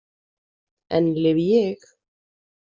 Enn lifi ég.